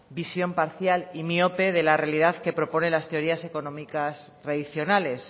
visión parcial y miope de la realidad que proponen las teorías económicas tradicionales